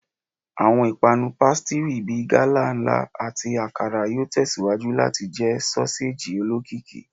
Awọn ipanu pasitiri bi gala nla; ati Akara yoo tẹsiwaju lati jẹ soseji olokiki